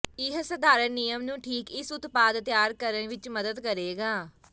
ਇਹ ਸਧਾਰਨ ਨਿਯਮ ਨੂੰ ਠੀਕ ਇਸ ਉਤਪਾਦ ਤਿਆਰ ਕਰਨ ਵਿੱਚ ਮਦਦ ਕਰੇਗਾ